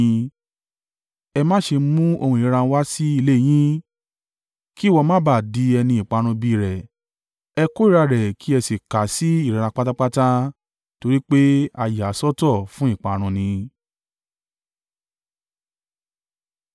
Ẹ má ṣe mú ohun ìríra wá sí ilé yín, kí ìwọ má ba à di ẹni ìparun bí i rẹ̀. Ẹ kórìíra rẹ̀ kí ẹ sì kà á sí ìríra pátápátá, torí pé a yà á sọ́tọ̀ fún ìparun ni.